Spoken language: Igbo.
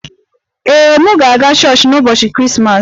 Ee, m ga-aga chọọchị n'ụbọchị Krismas